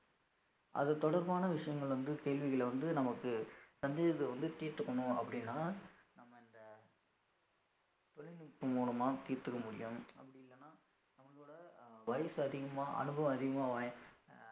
அது தொடர்பான விஷயங்கள் வந்து கேள்விகளை வந்து நமக்கு சந்தேகத்தை வந்து தீர்த்துக்கணும் அப்படின்னா நம்ம அந்த தொழில்நுட்பம் மூலமா தீர்த்துக்க முடியும் அப்படி இல்லைன்னா நம்மளோட வயசு அதிகமா அனுபவம் அதிகமா வாய்~